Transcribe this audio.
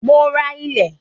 Mo máa ra ilẹ̀